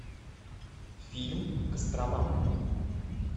фильм кострома